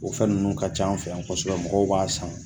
O fɛn nunnu ka c'an fɛ yan kosɛbɛ mɔgɔw b'a san